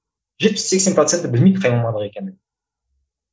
жетпіс сексен проценті білмейді қай мамандық екенін